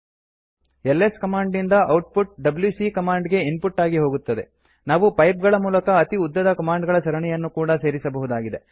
LS command ನಿಂದ output WC command ಗೆ input ಆಗಿ ಹೋಗುತ್ತದೆ ನಾವು ಪೈಪ್ ಗಳ ಮೂಲಕ ಅತಿ ಉದ್ದದ ಕಮಾಂಡ್ ಗಳ ಸರಣಿಗಳನ್ನು ಕೂಡ ಸೇರಿಸಬಹುದಾಗಿದೆ